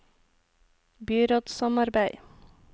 byrådssamarbeid